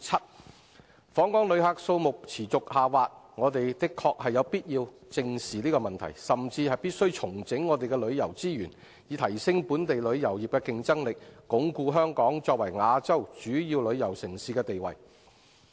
我們的確有必要正視訪港旅客數目持續下滑的問題，甚至必須重整旅遊資源，以提升本地旅遊業的競爭力，鞏固香港作為亞洲主要旅遊城市的地位。